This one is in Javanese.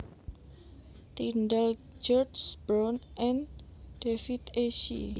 Tindall George Brown and David E Shi